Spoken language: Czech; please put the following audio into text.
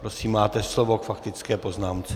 Prosím, máte slovo k faktické poznámce.